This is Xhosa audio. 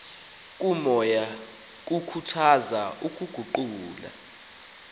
komoya kukhuthaza ukuguqula